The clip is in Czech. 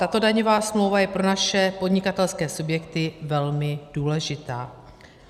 Tato daňová smlouva je pro naše podnikatelské subjekty velmi důležitá.